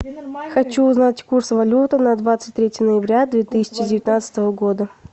хочу узнать курс валюты на двадцать третье ноября две тысячи девятнадцатого года